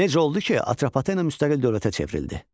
Necə oldu ki, Atropatena müstəqil dövlətə çevrildi?